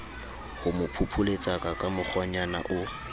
homo phopholetsaka ka mokgwanyana o